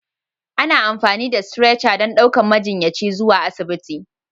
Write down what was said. Ana amfani da Stretcher don ɗaukar majiyyaci zuwa asibiti.